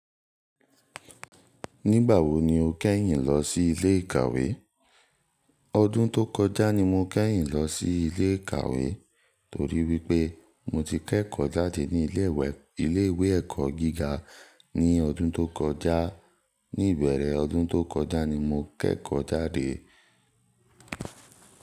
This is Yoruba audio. Nígbà wo ni o kẹ́yìn lọ sí ilé ìkàwé? Ọdún tó kọjá ni mo kẹ́yìn lọ sí ilé ìkàwé torí wípé mo ti kẹ́kọ̀ọ́ jáde ní ilé ìwé ẹ̀kọ́ gíga ní ọdún tó kọjá. Ní ìbẹ̀rẹ̀ ọdún tó kọjá ni mo kẹ́kọ̀ọ́ jáde.